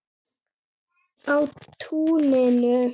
Á túninu.